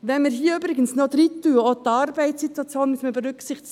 Wenn man hier übrigens auch noch aufnimmt, die Arbeitssituation werde berücksichtigt: